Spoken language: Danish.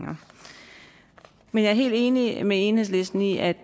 men jeg er helt enig med enhedslisten i at